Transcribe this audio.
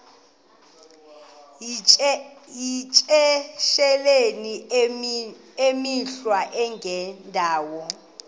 yityesheleni imikhwa engendawo